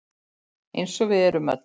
Eins og við erum öll.